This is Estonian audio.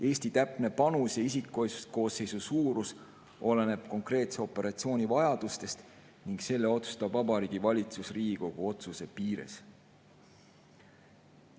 Eesti täpne panus ja isikkoosseisu suurus oleneb konkreetse operatsiooni vajadustest ning selle otsustab Vabariigi Valitsus Riigikogu otsuse piires.